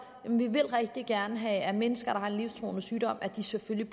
vi vil rigtig gerne have at mennesker der har livstruende sygdomme selvfølgelig